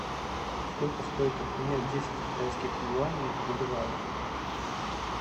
сколько стоит обменять десять китайских юаней в боливарах